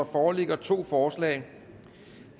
foreligger to forslag